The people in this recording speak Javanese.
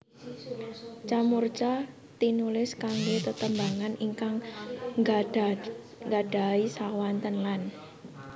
Ca murca tinulis kanggé tetembungan ingkang nggadahi swanten lan